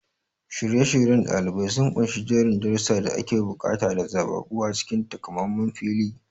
Shirye-shiryen ɗalibai sun ƙunshi jerin darussan da ake buƙata da zaɓaɓɓu a cikin takamaiman filin.